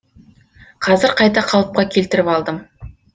қазір қайта қалыпқа келтіріп алдым